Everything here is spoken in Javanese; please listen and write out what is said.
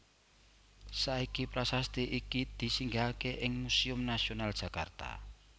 Saiki prasasti iki disinggahaké ing Museum Nasional Jakarta